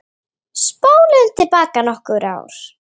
Spólum til baka nokkur ár.